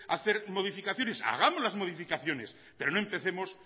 hacer modificaciones hagamos las modificaciones pero no empecemos